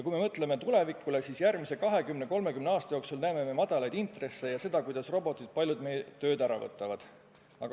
Kui me mõtleme tulevikule, siis järgmise 20–30 aasta jooksul me näeme madalaid intresse ja seda, kuidas robotid palju meie tööd ära võtavad.